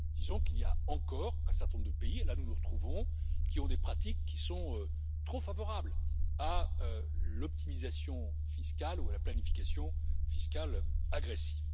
Disons qu'il y a encore un certain nombre de pays et là, nous nous retrouvons qui ont des pratiques qui sont trop favorables à l'optimisation fiscale ou à la planification fiscale agressive.